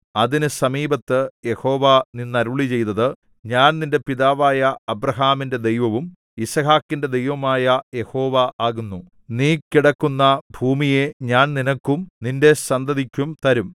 അതിന് സമീപത്ത് യഹോവ നിന്നു അരുളിച്ചെയ്തത് ഞാൻ നിന്റെ പിതാവായ അബ്രാഹാമിന്റെ ദൈവവും യിസ്ഹാക്കിന്റെ ദൈവവുമായ യഹോവ ആകുന്നു നീ കിടക്കുന്ന ഭൂമിയെ ഞാൻ നിനക്കും നിന്റെ സന്തതിക്കും തരും